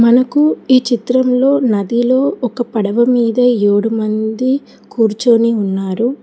మనకు ఈ చిత్రంలో నదిలో ఒక పడవ మీద ఏడు మంది కూర్చొని ఉన్నారు.